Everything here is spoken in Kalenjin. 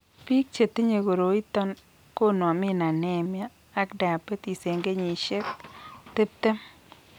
Biik chetinye koroiton konome anaemia ak diabetes eng' kenyisiek tiptem